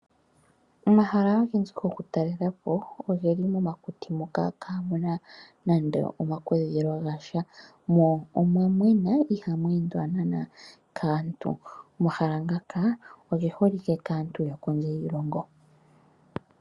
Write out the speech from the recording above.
Omahala ogendji gokutalela po oge li momakuti moka kaamu na nando omakudhilo ga sha, mo omwa mwena ihamu endwa naanaa kaantu. Omahala ngaka oge holike kaantu yokondje yiilongo.